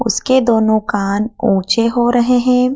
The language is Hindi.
उसके दोनों कान ऊंचे हो रहे हैं।